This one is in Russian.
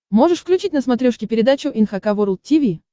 можешь включить на смотрешке передачу эн эйч кей волд ти ви